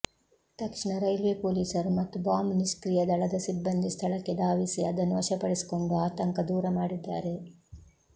ತಕ್ಷಣ ರೈಲ್ವೆ ಪೊಲೀಸರು ಮತ್ತು ಬಾಂಬ್ ನಿಷ್ಕ್ರಿಯ ದಳದ ಸಿಬ್ಬಂದಿ ಸ್ಥಳಕ್ಕೆ ಧಾವಿಸಿ ಅದನ್ನು ವಶಪಡಿಸಿಕೊಂಡು ಆತಂಕ ದೂರ ಮಾಡಿದ್ದಾರೆ